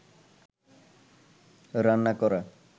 রান্না করা